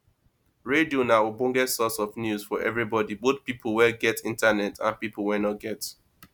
radio na ogbonge source of news for everybody both pipo wey get internet and pipo wey no get